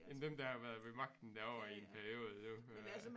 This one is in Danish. End dem der har været ved magten derovre i en periode jo øh